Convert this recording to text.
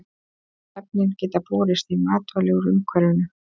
Efnin geta borist í matvæli úr umhverfinu.